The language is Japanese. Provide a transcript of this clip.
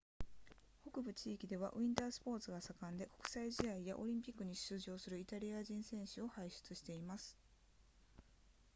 北部地域ではウィンタースポーツが盛んで国際試合やオリンピックに出場するイタリア人選手を輩出しています